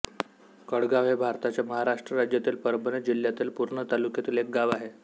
कळगाव हे भारताच्या महाराष्ट्र राज्यातील परभणी जिल्ह्यातील पूर्णा तालुक्यातील एक गाव आहे